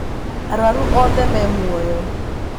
arwaru othe me muoyo